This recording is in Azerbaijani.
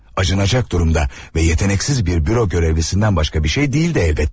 Acınacak durumda və yeteneksiz bir büro görevlisindən başqa bir şey deyil de əlbəttə.